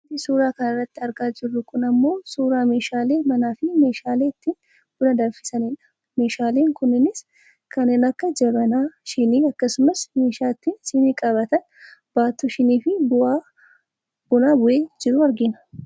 Wanti suuraa kanarratti argaa jiru kun ammoo suuraa meeshaalee manaafi meeshaalee ittiin buna danfisanidha. Meeshaaleen kunneenis kanneen akka jabanaa , shinii, akkasumas meeshaa ittiin sinii qabatan baattuu shiniifi buna bu'ee jiru argina.